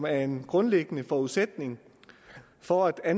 er en grundlæggende forudsætning for at